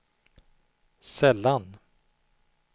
sällan